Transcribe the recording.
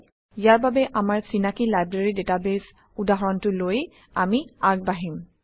ইয়াৰ বাবে আমাৰ চিনাকি লাইব্ৰেৰী ডাটাবেছ উদাহৰণটো লৈ আমি আগবাঢ়িম